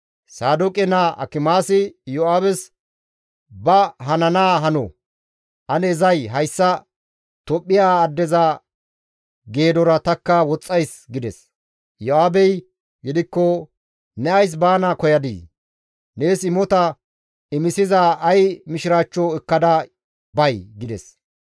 Saadooqe naa Akimaasi Iyo7aabes, «Ba hanaa hano; ane zay hayssa Tophphiya addeza geedora tanikka woxxays» gides. Iyo7aabey gidikko, «Ne ays baana koyadii? Nees imota imisiza ay mishiraachcho ekkada bay?» gides.